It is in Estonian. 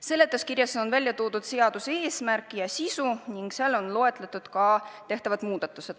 Seletuskirjas on välja toodud seaduseelnõu eesmärk ja sisu ning seal on loetletud ka tehtavad muudatused.